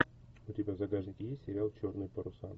у тебя в загашнике есть сериал черные паруса